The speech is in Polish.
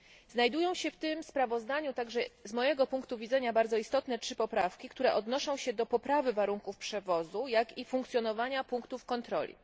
Znajdują się w tym sprawozdaniu także z mojego punktu widzenia bardzo istotne trzy poprawki, które odnoszą się do poprawy warunków przewozu, jak i funkcjonowania punktów kontroli.